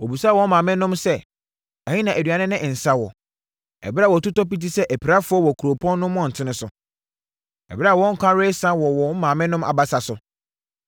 Wɔbisa wɔn maamenom sɛ, “Ɛhe na aduane ne nsã wɔ?” Ɛberɛ a wɔtotɔ piti sɛ apirafoɔ wɔ kuropɔn no mmɔntene so, ɛberɛ a wɔn nkwa resa wɔ wɔn maamenom abasa so.